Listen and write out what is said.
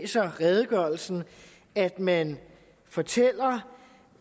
redegørelsen at man fortæller